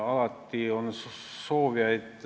Alati on muutuste soovijaid.